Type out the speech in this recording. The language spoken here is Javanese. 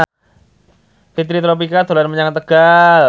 Fitri Tropika dolan menyang Tegal